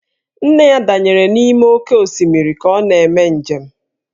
Nne ya danyere n'ime oké osimiri ka ọ na-eme njem